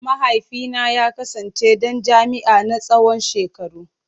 Mahaifina ya kasance dan jam’iyya na tsawon shekaru.